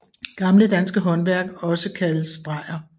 Gamle danske Håndværk også kaldes drejer